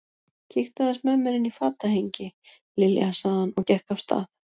Kíktu aðeins með mér inn í fatahengi, Lilja sagði hann og gekk af stað.